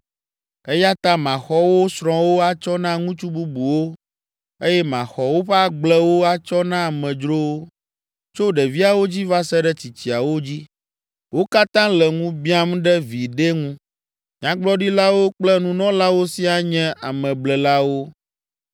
Eya ta maxɔ wo srɔ̃wo atsɔ na ŋutsu bubuwo eye maxɔ woƒe agblewo atsɔ na amedzrowo. Tso ɖeviawo dzi va se ɖe tsitsiawo dzi, wo katã le ŋu biãm ɖe viɖe ŋu. Nyagblɔɖilawo kple Nunɔlawo siaa nye ameblelawo.